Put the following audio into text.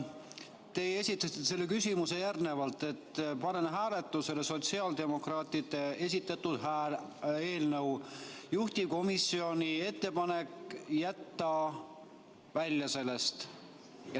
Te esitasite selle küsimuse järgnevalt: panen hääletusele sotsiaaldemokraatide esitatud eelnõu, juhtivkomisjoni ettepanek jätta sellest välja.